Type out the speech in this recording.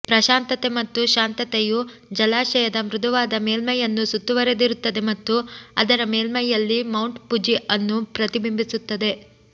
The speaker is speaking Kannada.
ಪ್ರಶಾಂತತೆ ಮತ್ತು ಶಾಂತತೆಯು ಜಲಾಶಯದ ಮೃದುವಾದ ಮೇಲ್ಮೈಯನ್ನು ಸುತ್ತುವರೆದಿರುತ್ತದೆ ಮತ್ತು ಅದರ ಮೇಲ್ಮೈಯಲ್ಲಿ ಮೌಂಟ್ ಫುಜಿ ಅನ್ನು ಪ್ರತಿಬಿಂಬಿಸುತ್ತದೆ